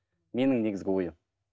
менің негізгі ойым